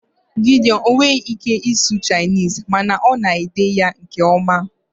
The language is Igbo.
Gideon enweghị ike ịsụ Chinese mana ọ na-ede ya nke ọma